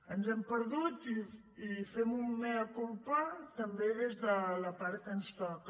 ens hem perdut i fem un mea culpa també des de la part que ens toca